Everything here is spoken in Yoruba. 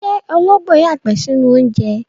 Ṣé ológbò yàgbẹ́ sínú oúnjẹ?